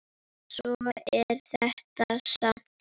Svona er þetta samt.